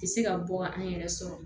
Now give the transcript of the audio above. Tɛ se ka bɔ ka an yɛrɛ sɔrɔ